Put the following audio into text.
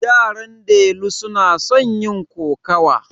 Yaran delu suna son yin kokawa.